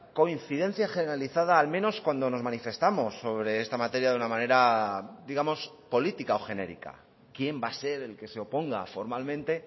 coincidencia generalizada al menos cuando nos manifestamos sobre esta materia de una manera digamos política o genérica quién va a ser el que se oponga formalmente